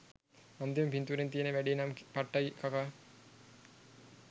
අන්තිම පින්තූරෙන් තියෙන වැඩේ නම් පට්ටයි කකා